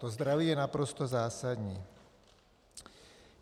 To zdraví je naprosto zásadní.